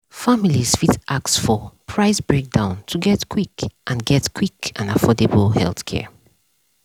families fit ask for price breakdown to get quick and get quick and affordable healthcare.